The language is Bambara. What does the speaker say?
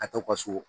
A tɔ ka so